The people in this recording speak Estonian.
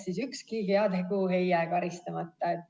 Aga ükski heategu ei jää karistama.